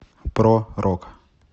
про рок